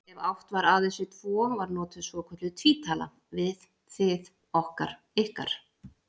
Ef átt var aðeins við tvo var notuð svokölluð tvítala, við, þið, okkar, ykkar.